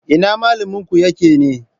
Ina malaminku yake ne?